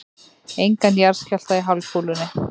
Engan jarðskjálfta í hálfkúlunni.